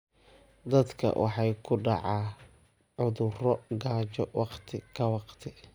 Dadka waxaa ku dhaca cudurro gaajo waqti ka waqti.